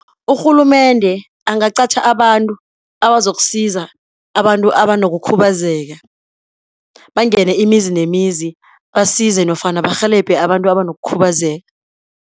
Urhulumende angaqatjha abantu abazokusiza abantu abanokukhubazeka. Bangene imizi nemizi, basize nofana barhelebhe abantu abanokukhubazeka.